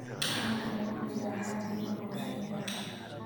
Waxa kale oo jira xaddi yar oo shinni ah